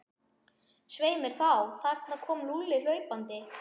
Svei mér þá, þarna kom Lúlli hlaupandi.